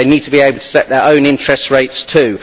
They need to be able to set their own interest rates too.